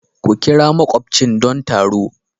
Ku ƙira makubchin don taro.